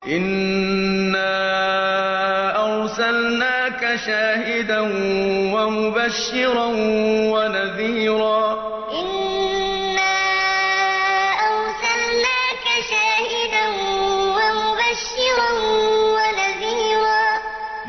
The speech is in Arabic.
إِنَّا أَرْسَلْنَاكَ شَاهِدًا وَمُبَشِّرًا وَنَذِيرًا إِنَّا أَرْسَلْنَاكَ شَاهِدًا وَمُبَشِّرًا وَنَذِيرًا